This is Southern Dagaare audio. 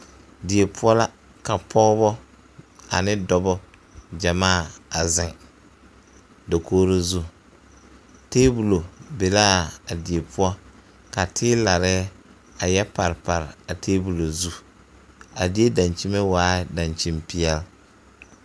Die poɔ la ka pɔgeba ane dɔba gyamaa a ziŋ dakogro zu taabolɔ be laa die poɔ ka teelare a yɛ parepare a taabolɔ zu a die daŋkyime waaɛ daŋkyime peɛl.